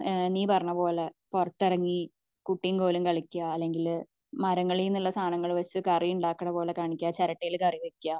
ഏഹ്ഹ് നെ പറഞ്ഞ പോലെ പുറത്തു ഇറങ്ങി ഏഹ്ഹ് കുട്ടിം കോലും കളിക്ക അല്ലെങ്കിൽ മരങ്ങളിന്ന് ഉള്ള സാധനങ്ങൾ പാറിച്ച കറി ഉണ്ടാക്കുന്ന പോലെ കാണിക്ക ചിരട്ടയിൽ കറി വെക്ക